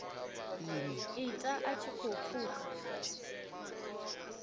ita a tshi khou pfuka